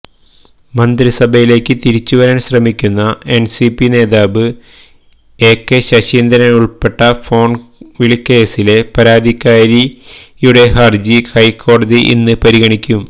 മന്ത്രിസഭയിലേക്ക് തിരിച്ചുവരാന് ശ്രമിക്കുന്ന എന്സിപി നേതാവ് എകെ ശശീന്ദ്രന് ഉള്്പ്പെട്ട ഫോണ്വിളികേസിലെ പരാതിക്കാരിയുടെ ഹര്ജി ഹൈക്കോടതി ഇന്ന് പരിഗണിക്കും